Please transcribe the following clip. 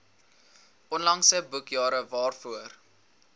onlangse boekjare waarvoor